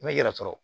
N bɛ yɛrɛ sɔrɔ